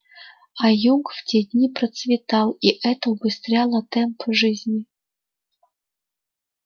а юг в те дни процветал и это убыстряло темп жизни